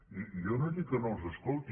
i jo no he dit que no els escolti